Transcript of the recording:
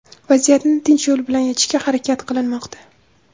Vaziyatni tinch yo‘l bilan yechishga harakat qilinmoqda.